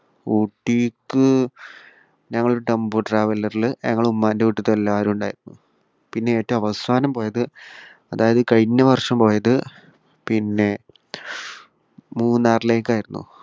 ഊട്ടിക്ക് ഞങ്ങൾ ഒരു ടെമ്പോ ട്രാവലറിൽ ഞങ്ങൾ ഉമ്മാന്റെ വീട്ടിൽത്തെ എല്ലാവരും ഉണ്ടായി. പിന്നെ ഏറ്റവും അവസാനം പോയത് അതായത് ഈ കഴിഞ്ഞ വർഷം പോയത് പിന്നെ മൂന്നാറിലേക്കായിരുന്നു.